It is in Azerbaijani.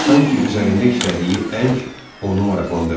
Sanki üzərində işlədiyi əng onu maraqlandırmırdı.